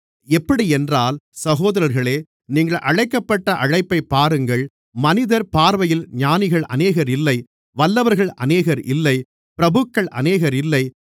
எப்படியென்றால் சகோதரர்களே நீங்கள் அழைக்கப்பட்ட அழைப்பைப் பாருங்கள் மனிதர் பார்வையில் ஞானிகள் அநேகர் இல்லை வல்லவர்கள் அநேகர் இல்லை பிரபுக்கள் அநேகர் இல்லை